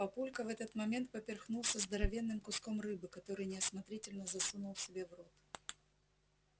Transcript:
папулька в этот момент поперхнулся здоровенным куском рыбы который неосмотрительно засунул себе в рот